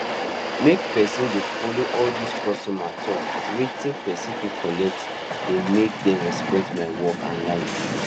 make person dey follow all these customers talk wetin person fit collect dey make dem respect my work and life